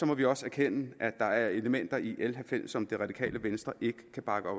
må vi også erkende at der er elementer i l halvfems som det radikale venstre ikke kan bakke